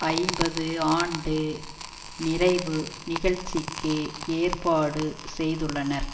ஐம்பது ஆண்டு நிறைவு நிகழ்ச்சிக்கு ஏற்பாடு செய்துள்ளனர்